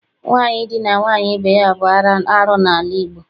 Nwaanyị idina nwaanyị ibe ya bụ arụ n'ala Igbo.